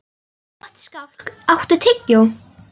Gottskálk, áttu tyggjó?